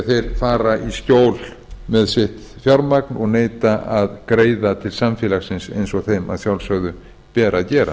þeir fara í skjól með sitt fjármagn og neita að greiða til samfélagsins eins og þeim að sjálfsögðu ber að gera